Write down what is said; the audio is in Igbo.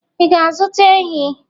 Ị ga-azụta ehi?